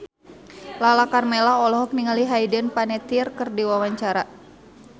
Lala Karmela olohok ningali Hayden Panettiere keur diwawancara